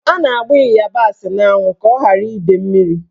A na-agba ịyabasị n'anwụ ka ọ ghara ide mmiri.